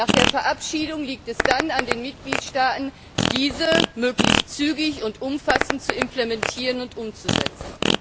Nach der Verabschiedung liegt es dann an den Mitgliedstaaten, diese möglichst zügig und umfassend zu implementieren und umzusetzen.